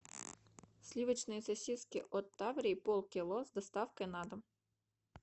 сливочные сосиски от таврии полкило с доставкой на дом